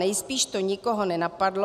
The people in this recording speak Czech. Nejspíš to nikoho nenapadlo.